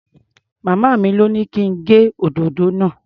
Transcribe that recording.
Màmá mi lọ́ ní kí n gé òdòdó náà.